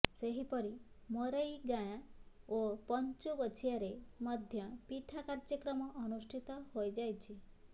ସେହିପରି ମରୈଗାଁ ଓ ପଞ୍ଚୁଗୋଛିଆରେ ମଧ୍ୟ ପିଠା କାର୍ଯ୍ୟକ୍ରମ ଅନୁଷ୍ଠିତ ହୋଇଯାଇଛି